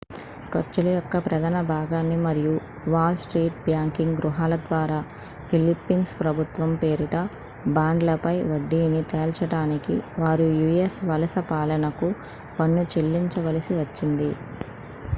ఖర్చుల యొక్క ప్రధాన భాగాన్ని మరియు వాల్ స్ట్రీట్ బ్యాంకింగ్ గృహాల ద్వారా ఫిలిప్పీన్స్ ప్రభుత్వం పేరిట బాండ్లపై వడ్డీని తేల్చడానికి వారు యూ.ఎస్ వలస పాలనకు పన్ను చెల్లించవలసి వచ్చింది